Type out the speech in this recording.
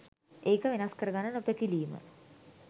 ඒක වෙනස් කරගන්න නොපැකිලීම.